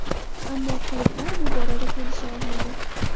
Ammo klublar bu borada kelisha olmadi.